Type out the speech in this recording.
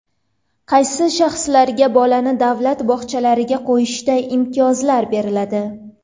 Qaysi shaxslarga bolani davlat bog‘chalariga qo‘yishda imtiyozlar beriladi?.